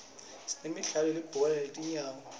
sinemidlalo yelibhola letinyawo